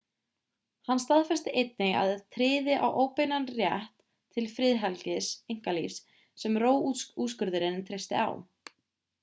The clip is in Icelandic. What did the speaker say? hann staðfesti einnig að hann tryði á óbeinan rétt til friðhelgis einkalífs sem roe-úrskurðurinn treysti á